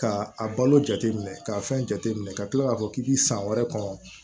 Ka a balo jateminɛ k'a fɛn jateminɛ ka kila k'a fɔ k'i b'i san wɛrɛ kɔnɔ